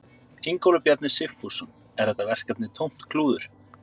Ingólfur Bjarni Sigfússon: Er þetta verkefni tómt klúður?